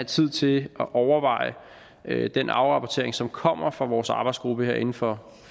tid til at overveje den afrapportering som kommer fra vores arbejdsgruppe her inden for